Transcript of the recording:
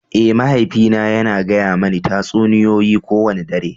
Eh, mahaifina yana gaya mani tatsuniyoyi kowane dare.